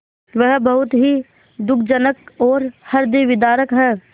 वह बहुत ही दुःखजनक और हृदयविदारक है